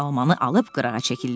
Armanı alıb qırağa çəkildi.